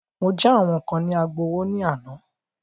Mọ já àwọn kán ní Agbowó ní àná.